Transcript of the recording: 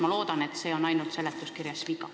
Ma loodan, et see on ainult seletuskirja viga.